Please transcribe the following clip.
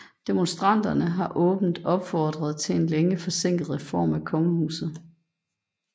Demonstranterne har åbent opfordret til en længe forsinket reform af kongehuset